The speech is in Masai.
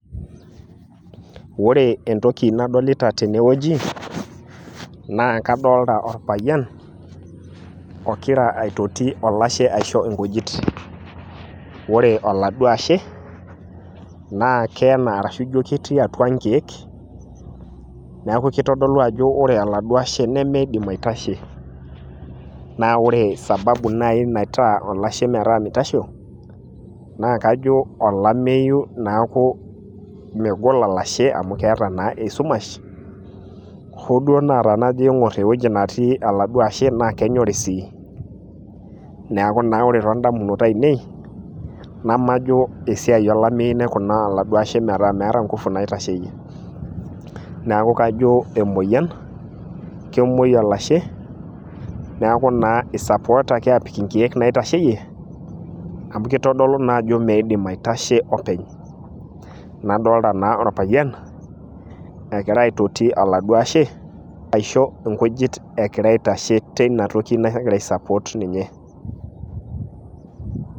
ore entoki nadolita tene wueji naa kadolita orpayian, ogira aitoti olashe aisho nkujit, ore oladuo ashe naa keena arashu ijo ketii atua nkeek, neeku kitodolu ajo ore oladuo ashe nemeidim aitashe, naa ore sababu nai naitaa olashe metaa mitasho, naa kajo olameyu neku megol olashe amu keeta naa esumash, hoo duo naa tenajo aig'or ewueji netii oladuo ashe naa kenyorri sii, neku ore too damunot ainei nemajo esiai olameyu naikunita oladuo ashe metaa meeta nkufu naitasheyie, neeku kajo emoyian, kemuoi olashe, neeku naa isapootaki aapik inkeek naitasheyie, amu kitodolu naa ajo meidim aitasho openy, nadoolta naa orpayian egira aitashe aiso nkujit teina toki nagira ai support ninye.